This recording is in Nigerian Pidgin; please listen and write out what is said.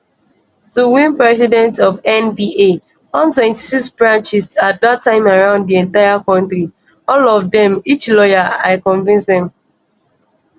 to win president of nba 126 branches at dat time around di entire kontri all of dem each lawyer i convince dem.